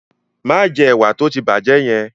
Má jẹ ẹ̀wà tó ti bàjẹ́ yẹn!